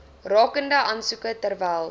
rakende aansoeke terwyl